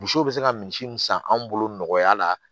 Misiw be se ka misi mun san anw bolo nɔgɔya la